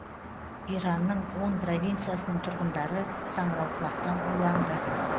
иранның он провинциясының тұрғындары саңырауқұлақтан уланды